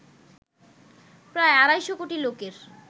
প্রায় আড়াই কোটি লোকের